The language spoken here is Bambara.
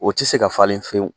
O te se ka falen fewu.